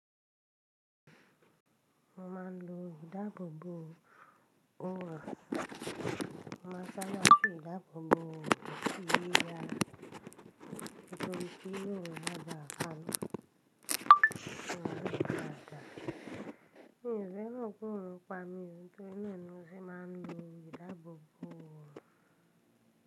Mo máa ń lo ìdáàbòbò òrùn. Mo máa ń sanra sí ìdáàbòbò òrùn sí yíyá nítorí pé yóò máa da'rùn. Kíni ìfẹ́ rẹ kúrò pamọ́, ohun tó nínú tí màá ń lo ìdáàbòbò òrùn.